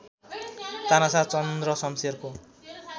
तानाशाह चन्द्र शमशेरको